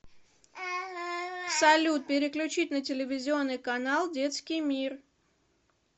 салют переключить на телевизионный канал детский мир